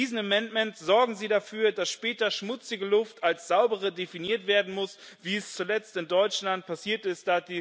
Mit diesem Änderungsantrag sorgen Sie dafür, dass später schmutzige Luft als saubere definiert werden muss, wie es zuletzt in Deutschland passiert ist.